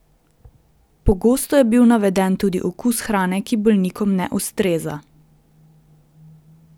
Pogosto je bil naveden tudi okus hrane, ki bolnikom ne ustreza.